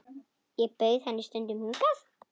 Ég bauð henni stundum hingað.